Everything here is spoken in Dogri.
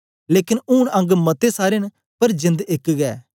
लेकन ऊन अंग मते सारे न पर जेंद एक गै